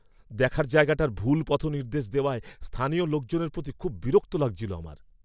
দেখার জায়গাটার ভুল পথনির্দেশ দেওয়ায় স্থানীয় লোকজনের প্রতি খুব বিরক্তি লাগছিল আমার।